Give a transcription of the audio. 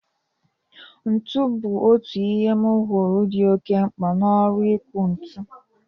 Ntu bụ otu ihe m huru di oke mkpa n'ọrụ iku ntu.